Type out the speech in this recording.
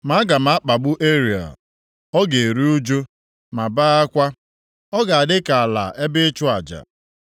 Ma aga m akpagbu Ariel, ọ ga-eru ụjụ, ma bee akwa, ọ ga-adị ka ala ebe ịchụ aja.